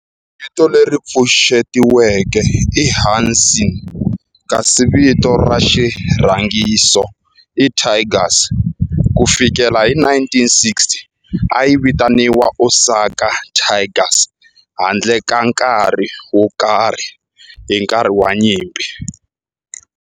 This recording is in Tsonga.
Vito leri pfuxetiweke i Hanshin kasi vito ra xirhangiso i Tigers. Ku fikela hi 1960, a yi vitaniwa Osaka Tigers handle ka nkarhi wo karhi hi nkarhi wa nyimpi.